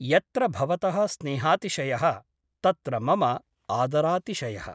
यत्र भवतः स्नेहातिशयः तत्र मम आदरातिशयः ।